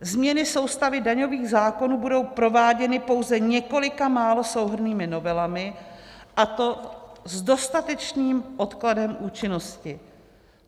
Změny soustavy daňových zákonů budou prováděny pouze několika málo souhrnnými novelami, a to s dostatečným odkladem účinnosti.